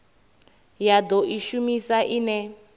ya do i shumisa ine